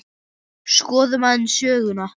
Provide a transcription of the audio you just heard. Skoðum aðeins söguna.